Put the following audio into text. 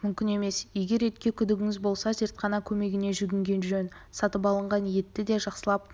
мүмкін емес егер етке күдігіңіз болса зертхана көмегіне жүнгінген жөн сатып алынған етті де жақсылап